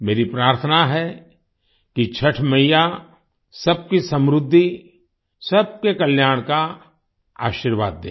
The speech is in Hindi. मेरी प्रार्थना है कि छठ मइया सबकी समृद्धि सबके कल्याण का आशीर्वाद दें